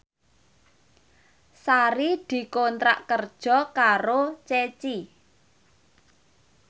Sari dikontrak kerja karo Ceci